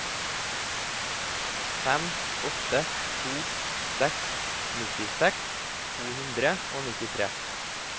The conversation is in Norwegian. fem åtte to seks nittiseks to hundre og nittitre